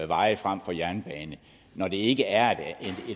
veje frem for jernbanen når det ikke er et